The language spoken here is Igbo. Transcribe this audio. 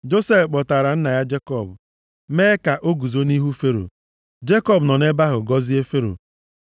Josef kpọtara nna ya Jekọb, mee ka o guzo nʼihu Fero. Jekọb nọ nʼebe ahụ gọzie Fero.